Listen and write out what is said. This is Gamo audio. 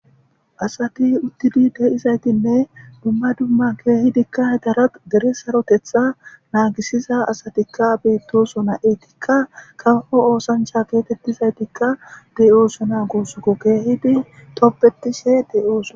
Asati uthidi dizaytine duma duma keehidika dere sarotetha naagisida asatika beetosona eetika kawo oosancha geetetizaytika de'osona gusako keehidi tobetishe de'osona.